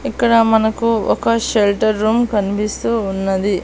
ఇక్కడ మనకు ఒక షెల్టర్ రూమ్ కనిపిస్తూ ఉన్నది.